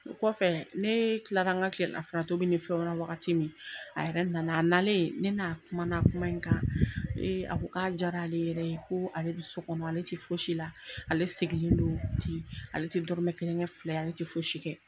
O kɔfɛ nee tilara ŋa tilelafana tobi ni fɛnw na wagati min, a yɛrɛ nana. A nalen, ne n'a kumana kuma in kan. a ko k'a diyara ale yɛrɛ ye. Koo ale bi sɔ kɔnɔ, ale ti fosi la, ale segilen don ten. Ale te dɔrɔmɛ kelen kɛ fila ye, ale te fosi kɛ.